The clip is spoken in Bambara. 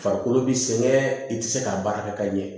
Farikolo bi sɛgɛn i tɛ se k'a baara kɛ ka ɲɛ